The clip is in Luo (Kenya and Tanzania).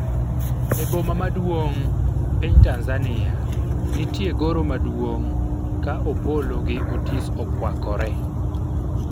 e boma maduong' ,piny Tanzania ,nitie goro maduong' ka Opollo gi Otis Okwakore